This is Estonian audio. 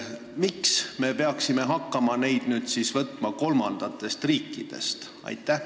Miks me peaksime hakkama neid nüüd vastu võtma kolmandatest riikidest?